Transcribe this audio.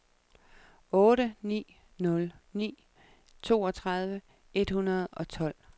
otte ni nul ni toogtredive et hundrede og tolv